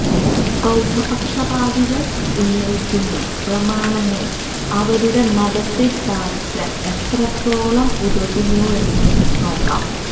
ബൌദ്ധപക്ഷപാതികള് ഉന്നയിക്കുന്ന പ്രമാണങ്ങള് അവരുടെ മതത്തെ സ്ഥാപിക്കാന് എത്രത്തോളം ഉതകുന്നുവെന്ന് നോക്കാം